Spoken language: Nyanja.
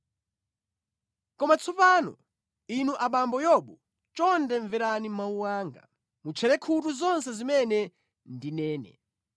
“Koma tsopano, inu abambo Yobu chonde mverani mawu anga; mutcherere khutu zonse zimene ndinene.